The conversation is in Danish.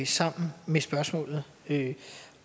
sammen med spørgsmålet